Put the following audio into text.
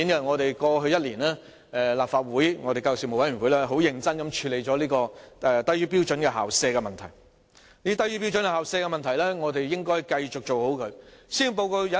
在過去1年，立法會教育事務委員會很認真地處理"低於標準校舍"的問題，而我們應該繼續妥善處理這問題。